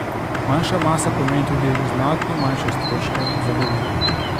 Manjša masa pomeni tudi znatno manjše stroške za gorivo.